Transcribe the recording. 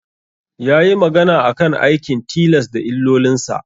Yayi magana akan aikin tilas da illolinsa.